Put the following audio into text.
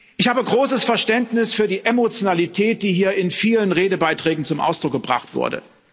Ich habe großes Verständnis für die Emotionalität, die hier in vielen Redebeiträgen zum Ausdruck gebracht wurde.